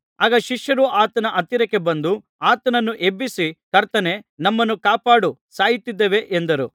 ಆಗ ಶಿಷ್ಯರು ಆತನ ಹತ್ತಿರ ಬಂದು ಆತನನ್ನು ಎಬ್ಬಿಸಿ ಕರ್ತನೇ ನಮ್ಮನ್ನು ಕಾಪಾಡು ಸಾಯುತ್ತಿದ್ದೇವೆ ಎಂದರು